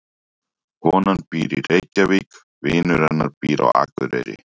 Konan býr í Reykjavík. Vinur hennar býr á Akureyri.